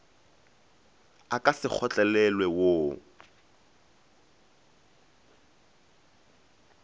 a ka se kgotlelelwe wo